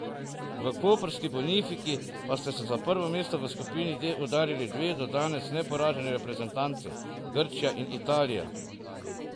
V koprski Bonifiki pa sta se za prvo mesto v skupini D udarili dve do danes neporaženi reprezentanci, Grčija in Italija.